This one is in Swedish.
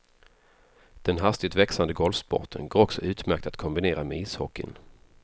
Den hastigt växande golfsporten går också utmärkt att kombinera med ishockeyn.